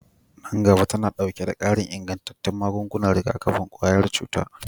Nan gaba tana ɗauke da ƙarin ingantattun magungunan rigakafin ƙwayar cuta